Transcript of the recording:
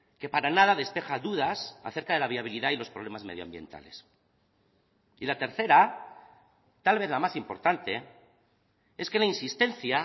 que para nada despeja dudas acerca de la viabilidad y los problemas medioambientales y la tercera tal vez la más importante es que la insistencia